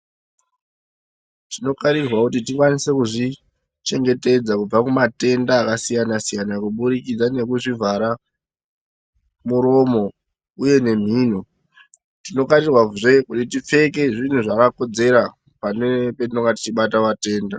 Tinokarirwavo kuti tikwanise kuzvichengetedza kubva matenda akasiyana-siyana. Kubudikidza nekuzvivhara muromo, uye nemhino tinokarirwazve kuti tipfeke zvinhu zvakakodzera pane tinonga tichibata vatenda.